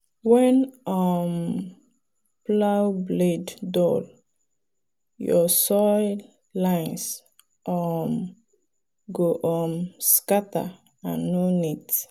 when um plow blade dull your soil lines um go um scatter and no neat.